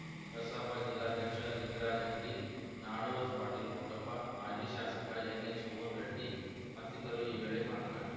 ಕಸಾಪ ಜಿಲ್ಲಾಧ್ಯಕ್ಷ ಲಿಂಗರಾಜ ಅಂಗಡಿ ನಾಡೋಜ್ ಪಾಟೀಲ ಪುಟ್ಟಪ್ಪ ಮಾಜಿ ಶಾಸಕ ಎನ್‌ಎಚ್‌ ಕೋನರೆಡ್ಡಿ ಮತ್ತಿತರರು ಈ ವೇಳೆ ಮಾತನಾಡಿದ